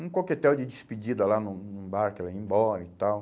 um coquetel de despedida lá no no barco, ele ia embora e tal.